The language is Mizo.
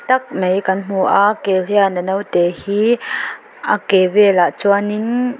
tak mai kan hmu a kel hian a naute hi a ke velah chuanin--